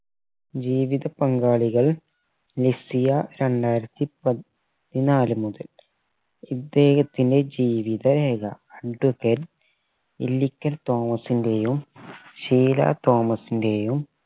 ജീവിത പങ്കാളികൾ ലെസിയ രണ്ടായിരത്തി പതിനാല് മുതൽ ഇദ്ദേഹത്തിന്റെ ജീവിത രേഖ advocate ഇല്ലിക്കൽ തോമസിന്റെയും ഷീലാതോമസ്സിന്റെയും